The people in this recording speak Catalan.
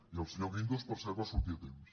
i el senyor guin·dos per cert va sortir a temps